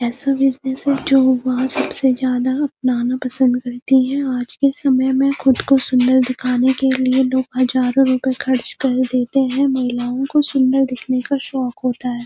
ऐसा बिज़नेस है जो वह सबसे ज्यादा अपनाना पसंद करती है आज के समय में खुद को सुंदर दिखाने के लिए लोग हजारों रुपए खर्च कर देते हैं महिलाओं को सुंदर दिखने का शौक होता है।